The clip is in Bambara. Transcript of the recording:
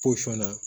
na